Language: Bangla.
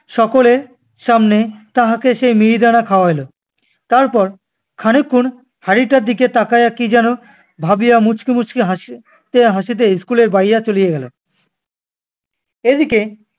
সকলের সামনে তাহাকে সে মিহিদানা খাওয়াইল। তারপর খানিক ক্ষণ হাঁড়িটার দিকে তাকাইয়া কী যেন ভাবিয়া মুচকি মুচকি হাসি~ হাসিতে হাসিতে school এর বাইরে চলে গেলো। এদিকে